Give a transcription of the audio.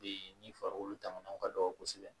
Be ni farikolo damaw ka dɔgɔ kosɛbɛ